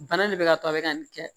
Bana nin be ka to a be ka nin kɛ